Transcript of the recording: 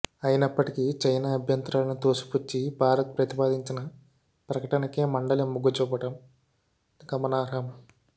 అయినప్పటికీ చైనా అభ్యంతరాలను తోసిపుచ్చి భారత్ ప్రతిపాదించిన ప్రకటనకే మండలి మొగ్గుచూపడం గమనార్హం